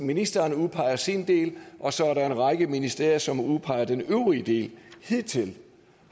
ministeren udpeger sin del og så er der en række ministerier som udpeger den øvrige del hidtil